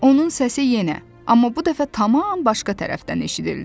Onun səsi yenə, amma bu dəfə tam başqa tərəfdən eşidildi.